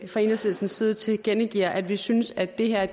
fra enhedslistens side tilkendegiver at vi synes at det her